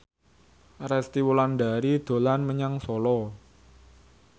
Resty Wulandari dolan menyang Solo